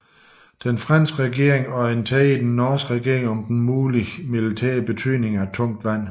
Den franske regering orienterede den norske regering om den mulige militære betydning af tungt vand